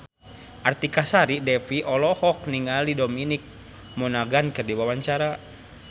Artika Sari Devi olohok ningali Dominic Monaghan keur diwawancara